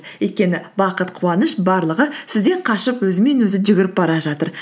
өйткені бақыт қуаныш барлығы сізден қашып өзімен өзі жүгіріп бара жатыр